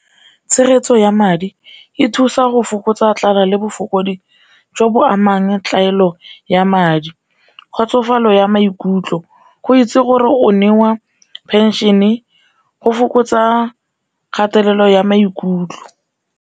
Tshegetso ya madi e thusa go fokotsa tlala le jo bo amang ya madi, kgotsofalo ya maikutlo go itse gore o newa pension-e go fokotsa kgatelelo ya maikutlo.